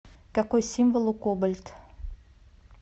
какой символ у кобальт